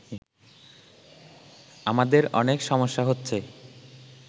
আমাদের অনেক সমস্যা হচ্ছে